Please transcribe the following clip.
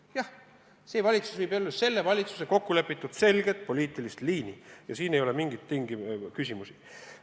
Jah, see valitsus ajab selle valitsuse kokkulepitud selget poliitilist liini ja siin ei ole mingit küsimust.